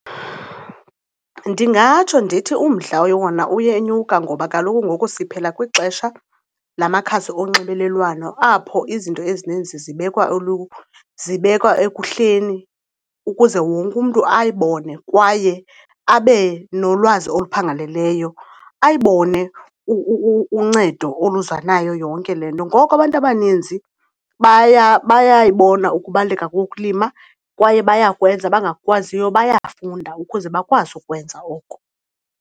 Ndingatsho ndithi umdla wona uyenyuka ngoba kaloku ngoku siphila kwixesha lamakhasi onxibelelwano apho izinto ezininzi zibekwa , zibekwa ekuhleni ukuze wonke umntu ayibone kwaye abe nolwazi oluphangaleleyo, ayibone uncedo oluza nayo yonke le nto. Ngoku abantu abaninzi bayayibona ukubaluleka kokulima kwaye bayakwenza, abangakukwaziyo bayafunda ukuze bakwazi ukwenza oko.